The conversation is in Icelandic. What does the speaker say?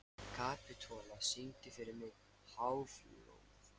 Kapitola, syngdu fyrir mig „Háflóð“.